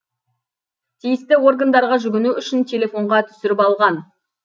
тиісті органдарға жүгіну үшін телефонға түсіріп алған